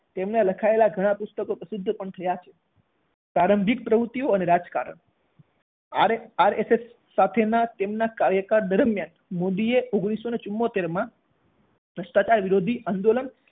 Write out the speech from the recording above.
તેમના લખાયેલા ઘણા પુસ્તકો પ્રસિદ્ધ પણ થયા પ્રારંભિક પ્રવૃત્તિઓ અને રાજકારણ RSS સાથેના તેમના કાર્યકાળ દરમિયાન, મોદીએ ઓગણીસો ચુંમોતેર માં ભ્રષ્ટાચાર વિરોધી આંદોલન